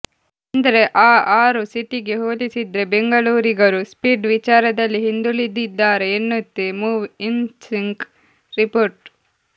ಅಂದ್ರೆ ಆ ಆರು ಸಿಟಿಗೆ ಹೋಲಿಸಿದ್ರೆ ಬೆಂಗಳೂರಿಗರು ಸ್ಪೀಡ್ ವಿಚಾರದಲ್ಲಿ ಹಿಂದುಳಿದಿದ್ದಾರೆ ಎನ್ನುತ್ತೆ ಮೂವ್ಇನ್ಸಿಂಕ್ ರಿಪೋರ್ಟ್